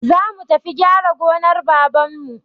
Zamu tafi gyara gonar babanmu.